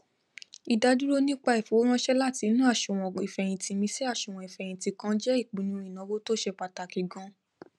ìdádúró nípa ìfowóránsẹ láti inú àsùwọn ìfẹyìntì mi sí àsùwọn ìfẹyìntì kan je ìpinnu ìnáwó tó ṣe pàtàkì ganan